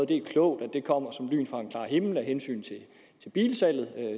det er klogt at det kommer som lyn fra en klar himmel af hensyn til bilsalget